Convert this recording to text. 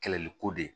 Kɛlɛliko de